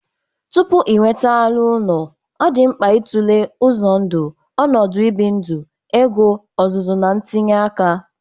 Tupu inweta anụ ụlọ, ọ dị mkpa ịtụle uzọ ndụ, ọnọdụ ibi ndụ, ego, ọzụzụ, na ntinye aka.